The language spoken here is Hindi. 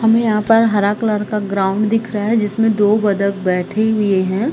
हमें यहाँ पर हरा कलर का ग्राउंड दिख रहा है जिसमे दो बदख बैठे हुए है।